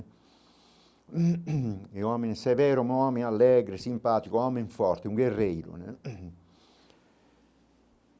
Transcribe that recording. É um homem severo, um homem alegre, simpático, um homem forte, um guerreiro, né?